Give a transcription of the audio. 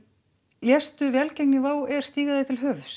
léstu velgengni wow stíga þér til höfuðs